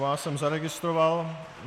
Vás jsem zaregistroval.